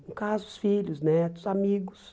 No caso, os filhos, os netos, os amigos.